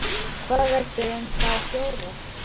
Hvað veistu um þá fjóra?